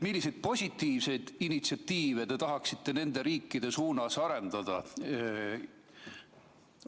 Milliseid positiivseid initsiatiive te tahaksite nende riikide suunas arendada?